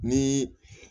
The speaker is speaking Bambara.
Ni